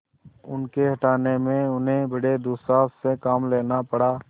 उनके हटाने में उन्हें बड़े दुस्साहस से काम लेना पड़ा